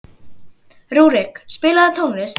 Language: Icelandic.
Rúrik, spilaðu tónlist.